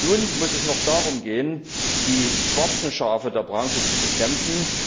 Nun muss es noch darum gehen, die schwarzen Schafe der Branche zu bekämpfen.